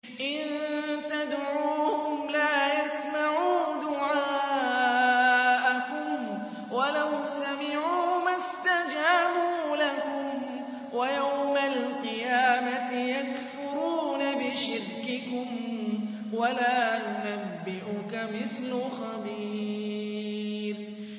إِن تَدْعُوهُمْ لَا يَسْمَعُوا دُعَاءَكُمْ وَلَوْ سَمِعُوا مَا اسْتَجَابُوا لَكُمْ ۖ وَيَوْمَ الْقِيَامَةِ يَكْفُرُونَ بِشِرْكِكُمْ ۚ وَلَا يُنَبِّئُكَ مِثْلُ خَبِيرٍ